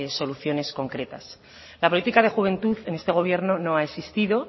soluciones concretas la política de juventud en este gobierno no ha existido